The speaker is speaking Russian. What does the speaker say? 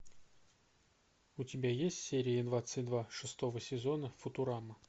у тебя есть серия двадцать два шестого сезона футурама